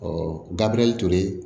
Ɔ gabiriyɛli tolen